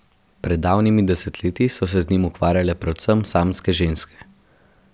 Pred davnimi desetletji so se z njim ukvarjale predvsem samske ženske.